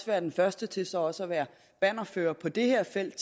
være den første til så også at være bannerfører på det her felt